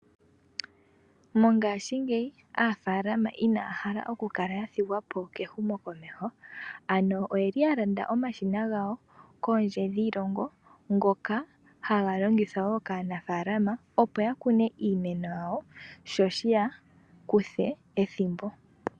Mongashingeyi aanafaalama inaya hala oku kala ya thigwapo kehumo komeho ano oyeli ya Landa omashina gawo kondje dhiilongo ngoka haga longithwa wo kaanafalama opo ya kune iimenk yawo sho shaa kwate ethimbo olindji.